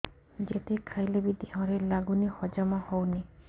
ଯେତେ ଖାଇଲେ ବି ଦେହରେ ଲାଗୁନି ହଜମ ହଉନି